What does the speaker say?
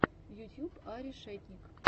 ютьюб а решетник